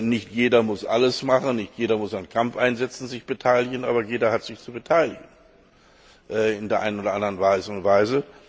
Nicht jeder muss alles machen, nicht jeder muss sich an Kampfeinsätzen beteiligen, aber jeder hat sich zu beteiligen in der ein oder anderen Art und Weise.